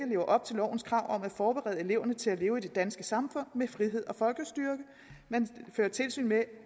lever op til lovens krav om at forberede eleverne til at leve i det danske samfund med frihed og folkestyre man fører tilsyn med